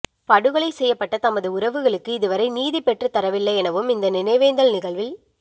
படுகொலை செய்யப்பட்ட தமது உறவுகளுக்கு இதுவரை நீதி பெற்றத்தரவில்லை எனவும் இந்த நினைவேந்தல் நிகழ்வில்